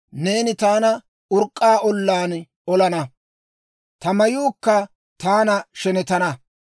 neeni taana urk'k'aa ollaan olana; ta mayuukka taana shenetana.